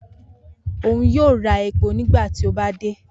Oun yoo ra epo nigbati o ba de.